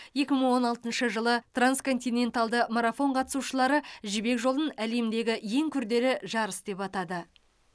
екі мың он алтыншы жылы трансконтиненталды марафон қатысушылары жібек жолын әлемдегі ең күрделі жарыс деп атады